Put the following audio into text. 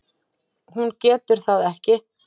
Hún getur það ekki.